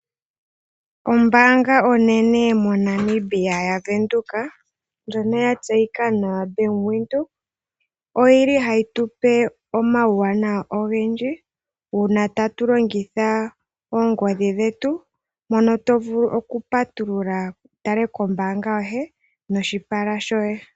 Ombaanga onene moNamibia yaWindhoek, ndjono ya tseyika nawa Bank Windhoek, oyi li hayi tupe omawuwanawa ogendji, uuna tatu longitha oongodhi dhetu mpono to vulu okupatulula wu tale kombaanga yoye noshipala shoye.